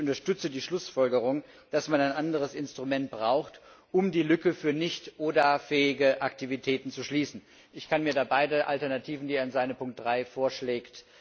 Ich unterstütze die Schlussfolgerung, dass man ein anderes Instrument braucht, um die Lücke für nicht ODA fähige Aktivitäten zu schließen. Ich kann mir da beide Alternativen vorstellen, die er in seiner Ziffer 3 vorschlägt.